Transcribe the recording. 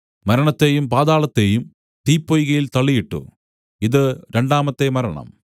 മരണത്തെയും പാതാളത്തെയും തീപ്പൊയ്കയിൽ തള്ളിയിട്ടു ഇതു രണ്ടാമത്തെ മരണം